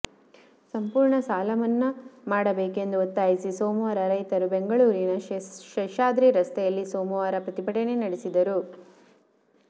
ಸಂಪೂರ್ಣ ಸಾಲ ಮನ್ನಾ ಮಾಡಬೇಕೆಂದು ಒತ್ತಾಯಿಸಿ ಸೋಮವಾರ ರೈತರು ಬೆಂಗಳೂರಿನ ಶೇಷಾದ್ರಿ ರಸ್ತೆಯಲ್ಲಿ ಸೋಮವಾರ ಪ್ರತಿಭಟನೆ ನಡೆಸಿದರು